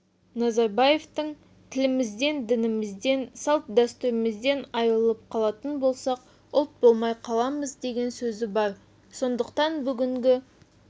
назарбаевтың тілімізден дінімізден салт-дстүрімізден айырылып қалатын болсақ ұлт болмай қаламыз деген сөзі бар сондықтан бүгінгі